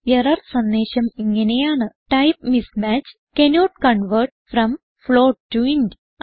error സന്ദേശം ഇങ്ങനെയാണ് type mismatch cannot convert from float to int